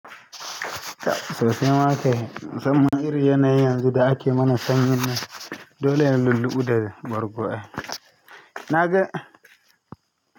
Sosaima kai, musamman irin yanayin yanzu da ake mana sanyin nan dole ne lulluɓu da bargo. Na ga.